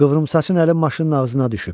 Qıvrımsaçın əli maşının ağzına düşüb.